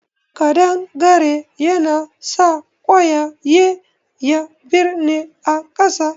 Ƙadangare ya nasa ƙwayaye ya birne a ƙasa